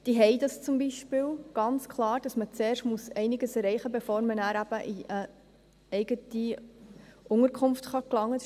Diese halten das zum Beispiel ganz klar so, dass man zuerst einiges erreichen muss, bevor man nachher in eine eigene Unterkunft gelangen kann.